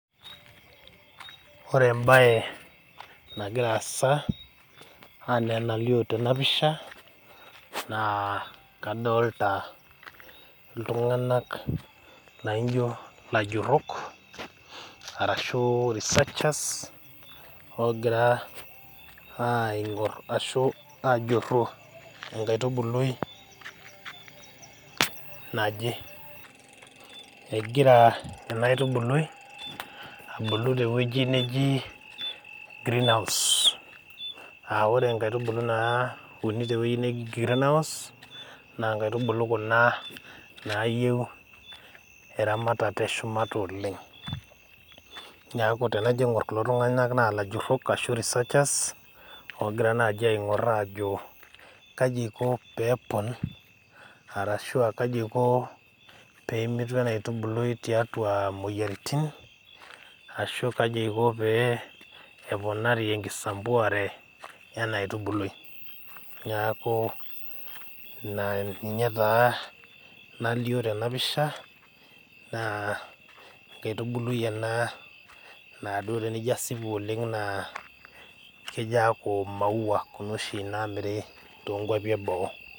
Ore embaye nagira aasa anaa enalio tena pisha naa kadolta iltung'anak lainjio ilajurrok arashu researchers ogira aing'orr ashu ajurru enkaitubului naje egira ena aitubului abulu tewueji neji greenhouse aa ore inkaitubulu naauni tewueji neji greenhouse naa inkaitubulu kuna nayieu eramatata eshumata oleng niaku tenajo aing'orr kulo tung'anak naa ilajurrok ashu reseachers ogira naaji aing'orr aajo kaji eiko peepon arashua kaji eiko pemitu ena aitubului tiatua imoyiaritin arashu kaji eiko pee eponari enkisambuare ena aitubului niaku ina ninye taa nalio tena pisha naa enkaitubului ena naaduo tenijo asipu oleng naa kejo aaku imaua kuna oshi naamiri tonkuapi eboo.